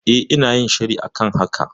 E, ina yin shiri a kan haka.